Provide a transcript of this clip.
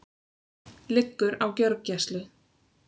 Liggur á gjörgæslu